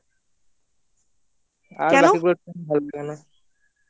কেন